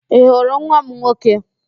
Ị hụrụ nwa m nwoke?